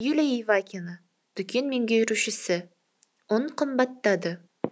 юлия ивакина дүкен меңгерушісі ұн қымбаттады